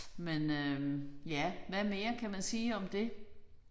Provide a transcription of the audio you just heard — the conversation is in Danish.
Men øh ja hvad mere kan man sige om det